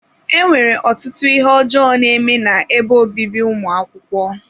Enwere ọtụtụ ihe ọjọọ na-eme na-ebe obibi ụmụ akwụkwọ.